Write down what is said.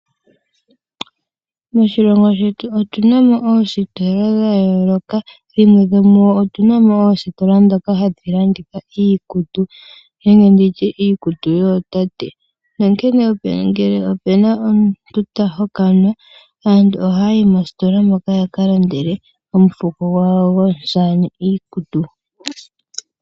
Moshilongo shetu otu na mo oositola dha yooloka. Dhimwe dhomu dho otu na mo oositola ndhoka hadhi landitha iikutu nenge ndi tye iikutu yootate. Nonkene ngele opu na omuntu ta hokanwa aantu ohaya yi moositola moka ya ka lande omufuko gwawo gomusamane iikutu.